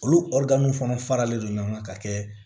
Olu fana faralen don ɲɔgɔn kan ka kɛ